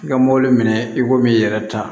I ka mobili minɛ i komi i yɛrɛ ta